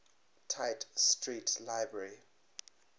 tite street library